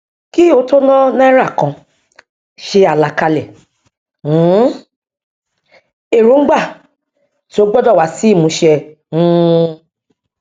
kí o tó ná náírà kan ṣe àlàkalẹ um èròǹgbà tí ó gbọdọ wá sí ìmúṣẹ um